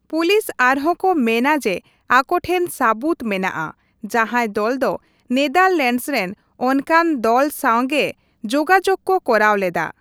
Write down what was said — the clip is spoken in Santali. ᱯᱩᱞᱤᱥ ᱟᱨᱦᱚᱸ ᱠᱚ ᱢᱮᱱᱟ ᱡᱮ ᱟᱠᱚ ᱴᱷᱮᱱ ᱥᱟᱹᱵᱩᱫᱽ ᱢᱮᱱᱟᱜᱼᱟ ᱡᱟᱸᱦᱟᱭ ᱫᱚᱞ ᱫᱚ ᱱᱮᱫᱟᱨᱞᱮᱱᱰᱥ ᱨᱮᱱ ᱚᱱᱠᱟᱱ ᱫᱚᱞ ᱥᱟᱶᱜᱮ ᱡᱳᱜᱟᱡᱚᱜᱽ ᱠᱚ ᱠᱚᱨᱟᱣ ᱞᱮᱫᱟ ᱾